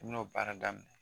N'o baara daminɛ